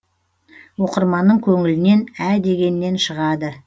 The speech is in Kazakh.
оқырманның көңілінен ә дегеннен шығады